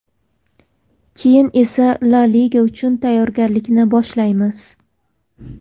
Keyin esa La liga uchun tayyorgarlikni boshlaymiz.